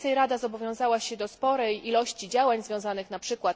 Co więcej Rada zobowiązała się do sporej ilości działań związanych np.